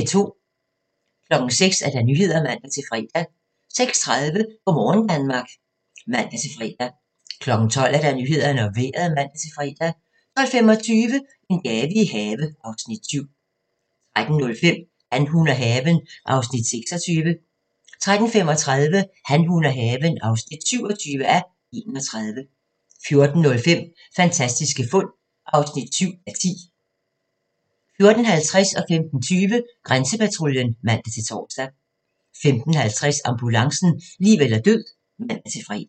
06:00: Nyhederne (man-fre) 06:30: Go' morgen Danmark (man-fre) 12:00: Nyhederne og Vejret (man-fre) 12:25: En have i gave (Afs. 7) 13:05: Han, hun og haven (26:31) 13:35: Han, hun og haven (27:31) 14:05: Fantastiske fund (7:10) 14:50: Grænsepatruljen (man-tor) 15:20: Grænsepatruljen (man-tor) 15:50: Ambulancen - liv eller død (man-fre)